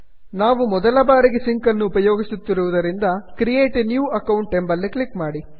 ನಾವು ಮೊದಲ ಬಾರಿಗೆ ಸಿಂಕ್ ಅನ್ನು ಉಪಯೋಗಿಸುತ್ತಿರುವುದರಿಂದ ಕ್ರಿಯೇಟ್ a ನ್ಯೂ ಅಕೌಂಟ್ ಎಂಬಲ್ಲಿ ಕ್ಲಿಕ್ ಮಾಡಿ